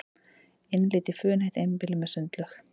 Innlit í funheitt einbýli með sundlaug